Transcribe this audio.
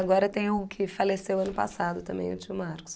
Agora tem o que faleceu ano passado também, o tio Marcos.